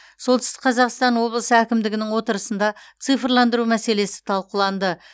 солтүстік қазақстан облысы әкімдігінің отырысында цифрландыру мәселесі талқыланды